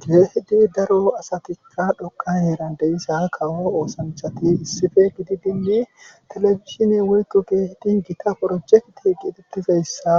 gize hidi daro asatikka dhoqa heerandeyissa kawo oosanchati issife gididinne telefishine woykko geehidi gita projekti qitetizayssa